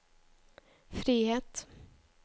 frihet